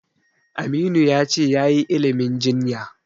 Aminu ya ce yayi ilimin jinya.